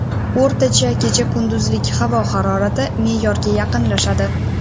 O‘rtacha kecha-kunduzlik havo harorati me’yorga yaqinlashadi.